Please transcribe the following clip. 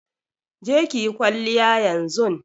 Je ki yi kwalliya yanzun!